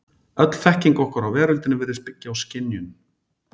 Öll þekking okkar á veröldinni virðist byggja á skynjun.